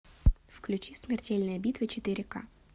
включи смертельная битва четыре ка